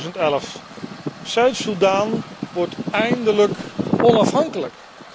2011. Zuid Soedan wordt eindelijk onafhankelijk.